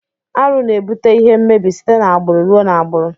Arụ na ebute ihe mmebi site na agburu rụọ na agburu.